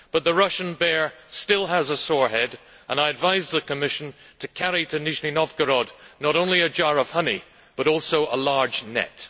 But the Russian bear still has a sore head and I advise the Commission to carry to Nizhny Novgorod not only a jar of honey but also a large net.